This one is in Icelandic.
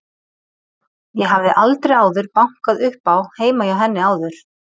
Ég hafði aldrei áður bankað upp á heima hjá henni áður.